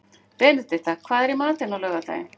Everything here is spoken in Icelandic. Benedikta, hvað er í matinn á laugardaginn?